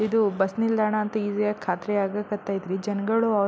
ಇದು ಬಸ್ ನಿಲ್ದಾಣ ಅಂತ ಈಸಿ ಆಗ್ ಖಾತ್ರಿ ಆಗಾಕ್ ಕತೈತ್ರಿ ಜನ್ಗಳು ಅವ್ರ್ ಅವ್ರ್--